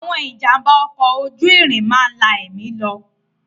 Àwọn ìjàm̀bá ọkọ̀ ojú irin máa ń la ẹ̀mí lọ.